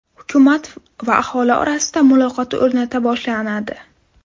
Hukumat va aholi orasida muloqot o‘rnata boshladi.